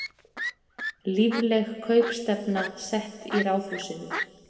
Lífleg kaupstefna sett í Ráðhúsinu